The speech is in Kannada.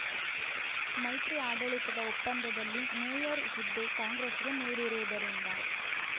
ಮೈತ್ರಿ ಆಡಳಿತದ ಒಪ್ಪಂದದಲ್ಲಿ ಮೇಯರ್‌ ಹುದ್ದೆ ಕಾಂಗ್ರೆಸ್‌ಗೆ ನೀಡಿರುವುದರಿಂದ